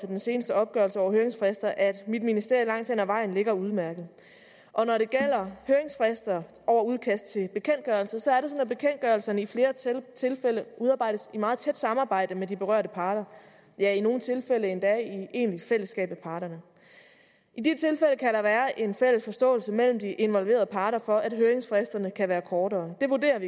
den seneste opgørelse over høringsfrister at mit ministerie langt hen ad vejen ligger udmærket og når det gælder høringsfrister over udkast til bekendtgørelser sådan at bekendtgørelserne i flere tilfælde udarbejdes i meget tæt samarbejde med de berørte parter ja i nogle tilfælde endda i egentligt fællesskab med parterne i de tilfælde kan der være en fælles forståelse mellem de involverede parter for at høringsfristerne kan være kortere